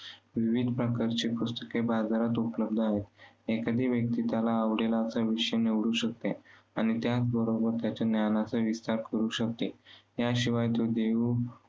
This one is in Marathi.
विविध प्रकारचे पुस्तके बाजारात उपलब्ध आहेत. एखादी व्यक्ती त्याला आवडले असा विषय निवडू शकते. आणि त्याचबरोबर त्याच्या ज्ञानाचा विस्तार करू शकते. याशिवाय तो